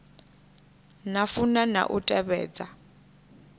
na funa na u tevhedza